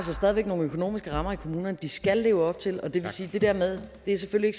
nogle økonomiske rammer i kommunerne som de skal leve op til og det vil sige at det der med at det selvfølgelig